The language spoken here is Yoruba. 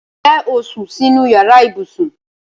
Ǹjẹ́ o sún sínú yàrá ibùsùn?